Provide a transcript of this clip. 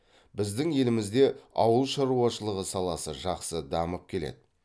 біздің елімізде ауыл шаруашылығы саласы жақсы дамып келеді